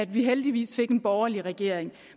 vi heldigvis fik en borgerlig regering